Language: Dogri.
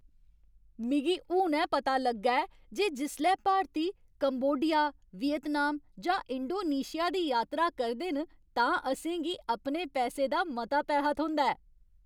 मिगी हुनै पता लग्गा ऐ जे जिसलै भारती कंबोडिया, वियतनाम जां इंडोनेशिया दी यात्रा करदे न तां असें गी अपने पैसें दा मता पैहा थ्होंदा ऐ।